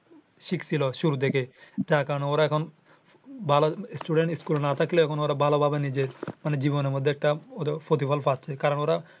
শিক ছিলো শুরু থেকে। যার কারনে ওরা এখন ভালো student school স্কুলে না থাকলে ভালো ভাবে নিজে জীবনের মধ্যে একটা প্রতিফল পাচ্ছে। কারণ ওরা